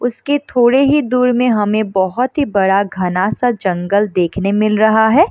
उसके थोड़े ही दूर में हमे बहोत ही बड़ा घना-सा जंगल देखने मिल रहा है।